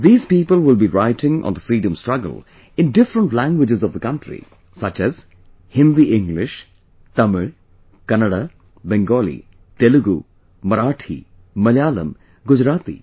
These people will be writing on the freedom struggle in different languages of the country, such as Hindi English, Tamil, Kannada, Bengali, Telugu, Marathi Malayalam, Gujarati